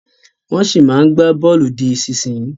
Wọ́n ṣì máa ń gba bọ̀ọ̀lù di ìsinsìnyí